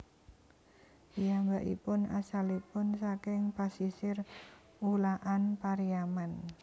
Piyambakipun asalipun saking pasisir Ulakan Pariaman